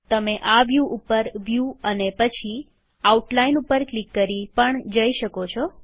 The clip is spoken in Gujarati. તમે આ વ્યુ ઉપર વ્યુ અને પછી આઉટલાઈન ઉપર ક્લિક કરી પણ જઇ શકો છો